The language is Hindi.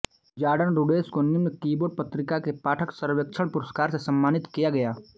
जॉर्डन रुडेस को निम्न कीबोर्ड पत्रिका के पाठक सर्वेक्षण पुरस्कार से सम्मानित किया गया